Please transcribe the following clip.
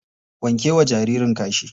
Wanke wa jaririn kashi.